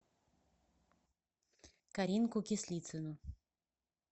каринку кислицыну